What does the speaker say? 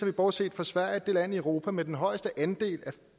vi bortset fra sverige det land i europa med den højeste andel